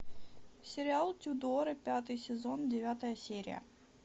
сериал тюдоры пятый сезон девятая серия